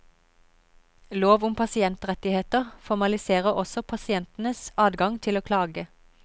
Lov om pasientrettigheter formaliserer også pasientenes adgang til å klage.